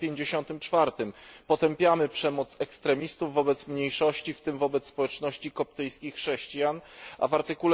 54 potępiamy przemoc ekstremistów wobec mniejszości, w tym wobec społeczności koptyjskich chrześcijan, a w art.